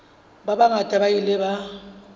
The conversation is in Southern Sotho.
ba bangata ba ile ba